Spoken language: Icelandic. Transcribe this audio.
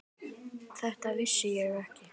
Þetta vissi ég ekki.